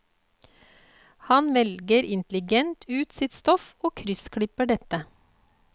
Han velger intelligent ut sitt stoff og kryssklipper dette.